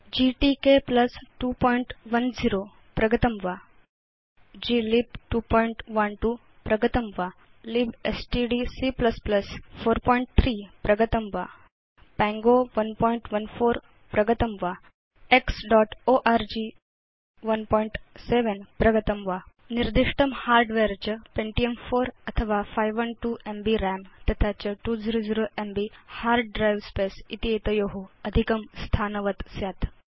GTK 210 प्रगतं वा GLib 212 प्रगतं वा libstdc 43 प्रगतं वा पङ्गो 114 प्रगतं वा xओर्ग 17 प्रगतं वा निर्दिष्टं हार्डवेयर च पेन्टियम् 4 अथवा 512एमबी रं तथा च 200एमबी हार्ड द्रिवे स्पेस् इति एतयो अधिकं स्थानं स्यात्